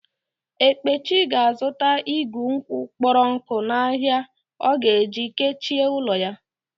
Ekpechi ga-azuta igù nkwụ kpọrọ nkụ n'ahia ọ ga-eji kechie ụlọ ya.